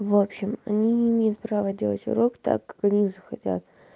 в общем они не имеют права делать урок так как они захотят